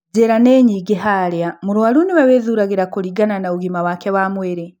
Njĩra nĩ nyingi harĩa mũrwaru nĩwe wĩthuragĩra kũringana na ũgima wake wa mwĩrĩ